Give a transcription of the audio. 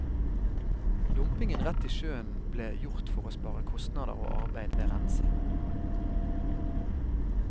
Dumpingen rett i sjøen ble gjort for å spare kostnader og arbeid ved rensing.